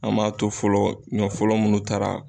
An m'a to fɔlɔ ɲɔ fɔlɔ munnu taara